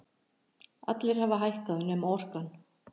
Allir hafa hækkað nema Orkan